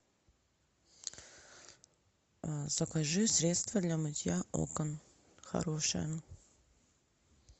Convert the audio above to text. закажи средство для мытья окон хорошее